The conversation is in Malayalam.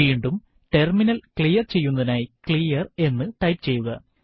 വീണ്ടും ടെർമിനൽ ക്ലിയർ ചെയ്യുന്നതിനായി ക്ലിയർ എന്ന് ടൈപ്പ് ചെയ്യുക